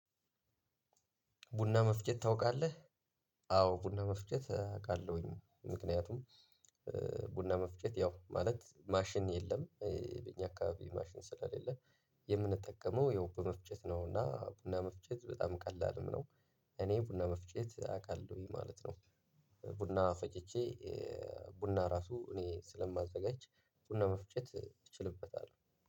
ቡና መፍጨት ታውቃለህ። አዎ ቡና መፍጨት አቃለሁኝ ምክንያቱም። ቡና መፍጨት ያው ማለት ማሽን የለም። በእኛ አካባቢ ማሽን ስለለ የምንጠቀመው ያው በመፍጨት ነውና ቡና መፍጨት በጣም ቀላል ነው። እኔ ቡና መፍጨት አቃለሁኝ ማለት ነው። ቡና ፈጭቼ ቡና ራሱ እኔ ስለማዘጋጅ ቡና መፍጨት እችልበታለሁ